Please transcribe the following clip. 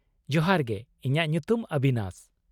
ᱡᱚᱦᱟᱨ ᱜᱮ, ᱤᱧᱟᱹᱜ ᱧᱩᱛᱩᱢ ᱚᱵᱤᱱᱟᱥ ᱾